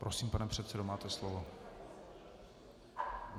Prosím, pane předsedo, máte slovo.